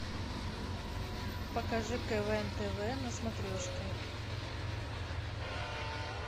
покажи квн тв на смотрешке